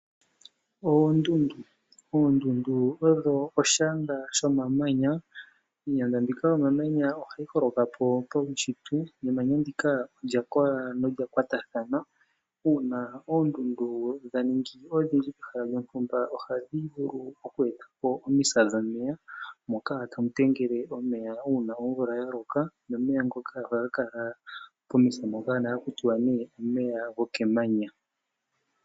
Oondundu odho oshiyanda dhomamanya. Iiyanda yomamanya ohayi holoka po paunshitwe . Emanya ndika olya kola nolya kwatathana . Uuna oondundu dhaningi odhindji pehala lyontumba ohadhi vulu okwetapo omisa dhomeya moka tamu tengele omeya uuna omvula yaloka nomeya ngoka ohaga kala pomisa mpoka nohaga ithanwa omeya gokemanya.